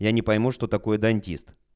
я не пойму что такое дантист